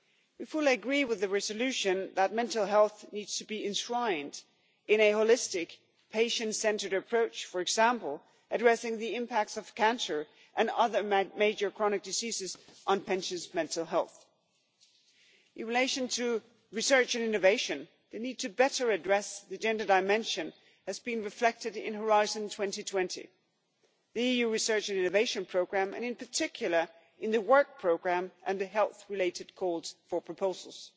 We fully agree with the resolution that mental health needs to be enshrined in a holistic patient centred approach, for example addressing the impact of cancer and other major chronic diseases on patients' mental health. In relation to research and innovation, we need to do more to address the gender dimension as reflected in Horizon 2020, the EU Research and Innovation Programme and, in particular, the work programme and the health-related calls for proposals.